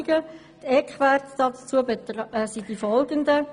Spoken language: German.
Die Eckwerte dazu sind folgende: